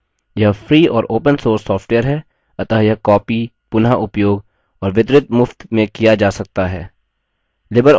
यह free और open source software है अतः यह copied पुनःउपयोग और वितरित मुफ्त में किया जा सकता है